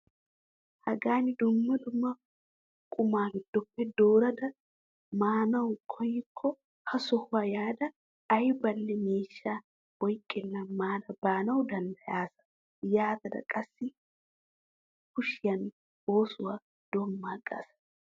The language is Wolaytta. Magani wogaa qumaa giddoppe dummaa dummaa dorada maanawu koyikko ha sohuwaa yaada aybanne miishsha oyqqenan maada baanawu danddayaasa yaatada qassi kushiinaa oosuwaa doommaagasa!